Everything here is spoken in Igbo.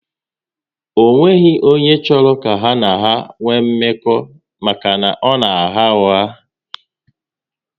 Ọ nweghị onye chọrọ ka ha na ya nwee mmekọ maka na ọ na agha ụgha